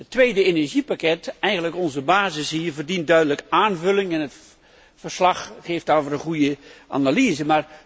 Het tweede energiepakket, eigenlijk onze basis hier, verdient duidelijk aanvulling en het verslag geeft daarover een goede analyse.